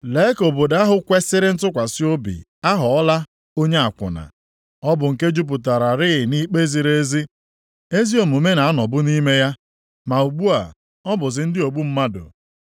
Lee ka obodo ahụ kwesiri ntụkwasị obi aghọọla onye akwụna! Ọ bụ nke jupụtararị nʼikpe ziri ezi; ezi omume na-anọbu nʼime ya, ma ugbu a, ọ bụzi ndị ogbu mmadụ.